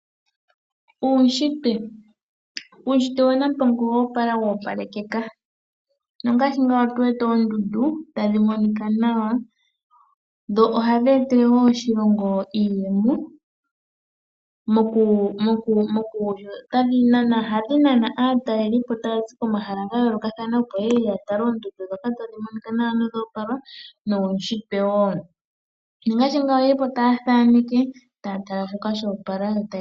Uunshitwe Uunshitwe waNampongo owo opala woopalekeka. Omu na oondundu tadhi monika nawa dho ohadhi etele wo oshilongo iiyemo. Ohadhi nana aatalelipo taa zi komahala ga yoolokathana, opo ye ye ya tale oondundu ndhoka tadhi monika nawa nodho oopala nuunshitwe wo. Ohaya kala taya thaneke, taya tala shoka sho opala.